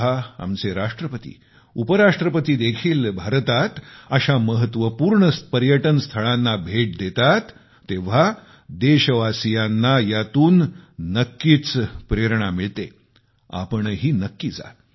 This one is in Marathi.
जेव्हा आमचे राष्ट्रपती उपराष्ट्रपती देखील भारतात अशा महत्त्वपूर्ण पर्यटनस्थळांना भेट देतात तेव्हा देशवासियांना यातून नक्कीच प्रेरणा मिळते तुम्हीही नक्की जा